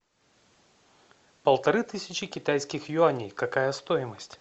полторы тысячи китайских юаней какая стоимость